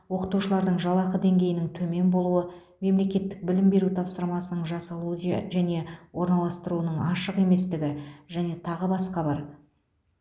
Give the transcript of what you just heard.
оқытушылардың жалақы деңгейінің төмен болуы мемлекеттік білім беру тапсырысының жасалу де және орналастыруының ашық еместігі және тағы басқа бар